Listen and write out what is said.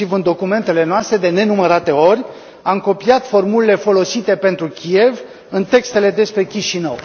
Inclusiv în documentele noastre, de nenumărate ori, am copiat formulele folosite pentru Kiev în textele despre Chișinău.